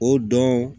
O dɔn